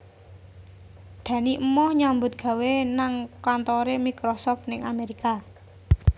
Dani emoh nyambut gawe nang kantore Microsoft ning Amerika